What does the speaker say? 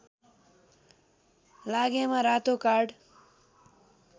लागेमा रातो कार्ड